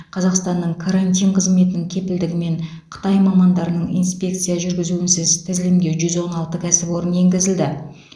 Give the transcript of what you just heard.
қазақстанның карантин қызметінің кепілдігімен қытай мамандарының инспекция жүргізуінсіз тізілімге жүз он алты кәсіпорын енгізілді